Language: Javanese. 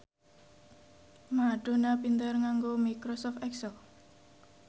Madonna pinter nganggo microsoft excel